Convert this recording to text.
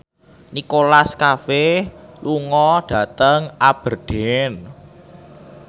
Nicholas Cafe lunga dhateng Aberdeen